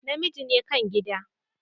namiji ne kan gida.